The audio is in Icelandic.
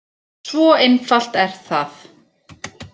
Svo einfalt er það!